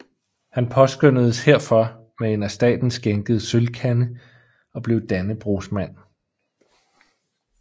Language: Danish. Han påskønnedes herfor med en af staten skænket sølvkande og blev Dannebrogsmand